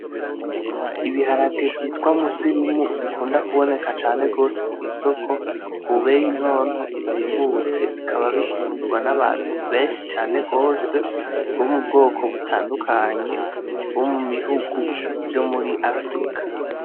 Ibiharage vyitwa musirimu bikunda kuboneka cane gose kw'isoko ku beyi ntonto izimbutse bikaba bikundwa n'abantu benshi cane gose bo mu bwoko butandukanye bo mu bihugu vyo muri Afirika.